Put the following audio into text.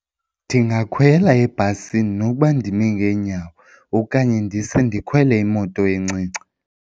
Ndingakhwela ebhasini noba ndime ngeenyawo okanye ndise ndikhwele imoto encinci.